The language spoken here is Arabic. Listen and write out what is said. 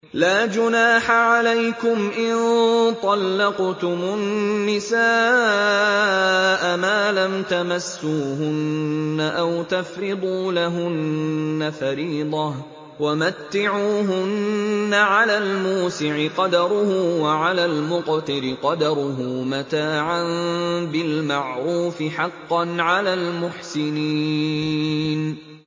لَّا جُنَاحَ عَلَيْكُمْ إِن طَلَّقْتُمُ النِّسَاءَ مَا لَمْ تَمَسُّوهُنَّ أَوْ تَفْرِضُوا لَهُنَّ فَرِيضَةً ۚ وَمَتِّعُوهُنَّ عَلَى الْمُوسِعِ قَدَرُهُ وَعَلَى الْمُقْتِرِ قَدَرُهُ مَتَاعًا بِالْمَعْرُوفِ ۖ حَقًّا عَلَى الْمُحْسِنِينَ